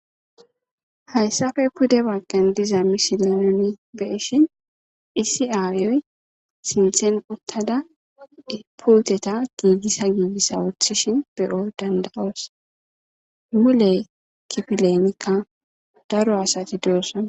Hayssape pude baggan diza misile nuni be'ishin issi aayoy sinthen uttada puuteta giigissa giigissa woththishin be'o danda'os; mule kifilenikka daro asati doosona.